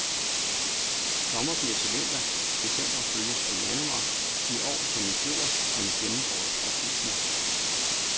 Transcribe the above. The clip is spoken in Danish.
Sommer bliver til vinter, december følges af januar, i år som i fjor, som gennem årtusinder.